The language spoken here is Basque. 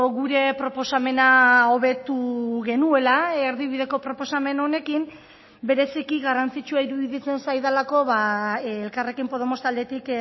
gure proposamena hobetu genuela erdibideko proposamen honekin bereziki garrantzitsua iruditzen zaidalako elkarrekin podemos taldetik